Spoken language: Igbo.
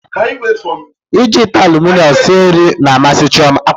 Iji ite aluminiọm sie nri na-amasị Chioma